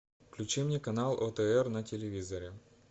включи мне канал отр на телевизоре